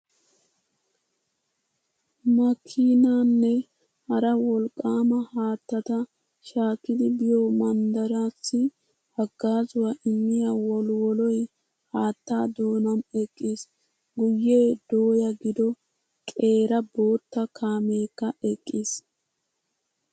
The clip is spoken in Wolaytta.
makkiinnaanne hara wolqqaama haattata shaakkidi biyo manddaraassi haggaazuwa immiya wolwoloy haattaa doonan eqqiis. Guyyee dooya gido qeera bootta kaameekka eqqiis.